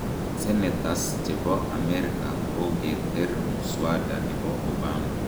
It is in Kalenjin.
Senetas chepo amerika kokoter mwada nepo Obama.